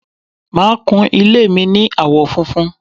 màá kún ilé mi ní àwọ̀ funfun